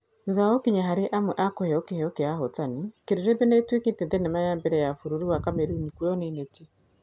Thutha wa gũkinya harĩ amwe a kũheo kĩheo kĩa ahotani, Kĩrĩrĩmbĩ nĩ ĩtuĩkĩte thenema ya mbere ya bururi wa Kameruni kuoywo nĩ Neti.